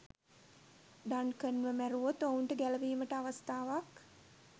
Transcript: Duncan ව මැරුවොත් ඔවුන්ට ගැලවීමට අවස්ථාවක්